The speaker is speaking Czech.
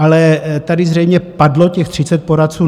Ale tady zřejmě padlo těch 30 poradců.